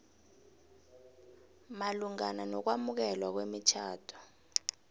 malungana nokwamukelwa kwemitjhado